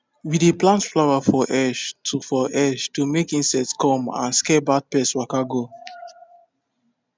we dey plant flower for edge to for edge to make insect come and scare bad pest waka go